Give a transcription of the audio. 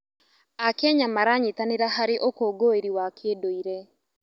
Akenya maranyitanĩra harĩ ũkũngũĩri wa kĩndũire.